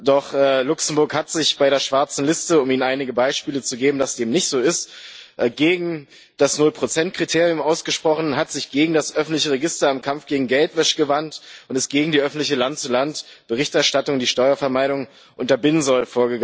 Doch Luxemburg hat sich bei der schwarzen Liste um Ihnen einige Beispiele zu geben, dass dem nicht so ist gegen das Null Prozent Kriterium ausgesprochen, hat sich gegen das öffentliche Register im Kampf gegen Geldwäsche gewandt und ist gegen die öffentliche Land zu Land Berichterstattung vorgegangen, die Steuervermeidung unterbinden soll.